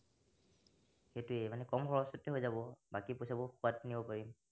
এইটোৱে মানে কম খৰছতে হৈ যাব, বাকী পইছাবোৰ খোৱাত নিব পাৰিম।